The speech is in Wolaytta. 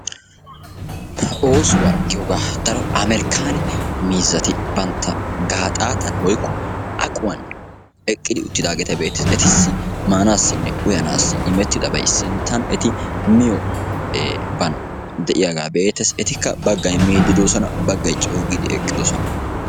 Ha oosuwa giyogaa daro Ameerikkaanne miizzati bantta gaaxxaatan woykko aquwan eqqidi uttidaageta be'ettees. Ettissi maanaassinne uyanaassi immettidabay sinttan eti miyo baan de'iyaagaa be'ettees, etikka baggay miidi doossona baggay coo giidi eqqidosona.